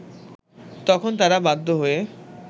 তখন তারা বাধ্য হয়ে